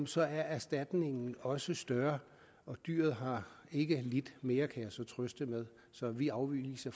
så er erstatningen også større og dyret har ikke lidt mere kan jeg så trøste med så vi afviser